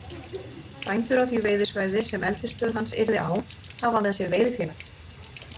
Bændur á því veiðisvæði, sem eldisstöð hans yrði á, hafa með sér veiðifélag